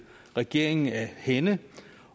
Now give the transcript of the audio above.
regeringen af hænde